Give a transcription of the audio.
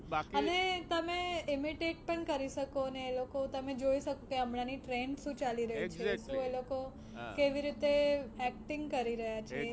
અને તમે imitate પણ કરી શકો ને એ લોકો તમે જોઈ શકો કે હમણાંની trend શું ચાલી રહી છે શું એ લોકો કેવી રીતે acting કરી રહ્યા છે.